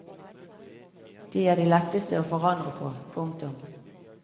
De er de letteste å forandre på. punktum